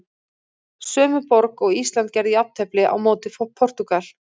Sömu borg og Ísland gerði jafntefli á móti Portúgal.